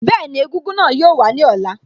Bẹ́ẹ̀ni, egúngún náà yóò wàá ní ọ̀la